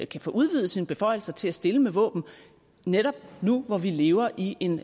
kan få udvidet sine beføjelser til at stille med våben netop nu hvor vi lever i en